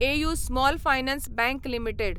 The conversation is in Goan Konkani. AU small finance bank limited